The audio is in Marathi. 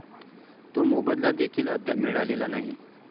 तो मोबदला देखील अद्याप मिळालेला नाही.